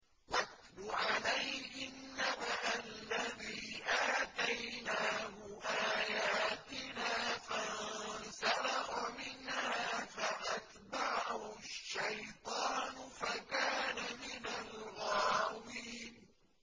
وَاتْلُ عَلَيْهِمْ نَبَأَ الَّذِي آتَيْنَاهُ آيَاتِنَا فَانسَلَخَ مِنْهَا فَأَتْبَعَهُ الشَّيْطَانُ فَكَانَ مِنَ الْغَاوِينَ